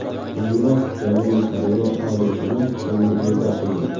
Keyinroq Janubiy Koreya Oliy sudi hukmni bekor qilgan.